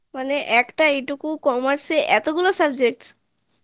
মানে একটা এইটুকু commerce এ এতখানি subject